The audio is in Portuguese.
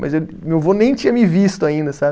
Mas ele, meu vô nem tinha me visto ainda, sabe?